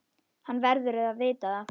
Hann verður að vita það.